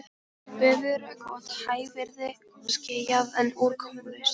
Veður er gott, hægviðri, skýjað, en úrkomulaust.